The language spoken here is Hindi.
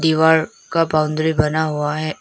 दीवार का बाउंड्री बना हुआ है।